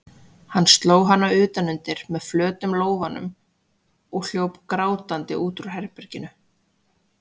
Hann sló hana utan undir með flötum lófanum og hljóp grátandi út úr herberginu.